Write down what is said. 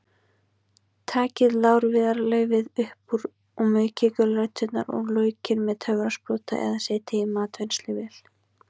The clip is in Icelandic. Takið lárviðarlaufið upp úr og maukið gulræturnar og laukinn með töfrasprota eða setjið í matvinnsluvél.